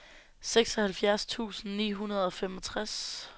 seksoghalvfjerds tusind ni hundrede og femogtres